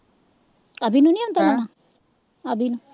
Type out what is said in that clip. ਅਭੀ ਨੂੰ ਨਹੀਂ ਆਉਂਦਾ ਲਾਉਣਾ ਅਭੀ ਨੂੰ